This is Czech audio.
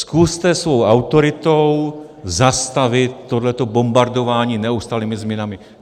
Zkuste svou autoritou zastavit tohle bombardování neustálými změnami.